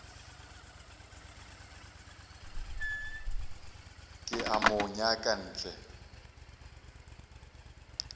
ke a mo nyaka hle